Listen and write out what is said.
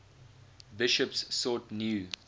bishops sought new